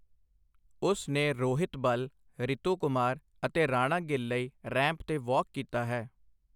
ਉਸ ਨੇ ਰੋਹਿਤ ਬਲ, ਰਿਤੂ ਕੁਮਾਰ ਅਤੇ ਰਾਣਾ ਗਿੱਲ ਲਈ ਰੈਂਪ 'ਤੇ ਵਾਕ ਕੀਤਾ ਹੈ।